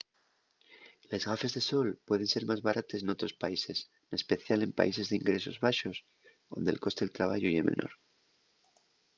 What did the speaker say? les gafes de sol pueden ser más barates n'otros países n'especial en países d'ingresos baxos onde'l coste del trabayu ye menor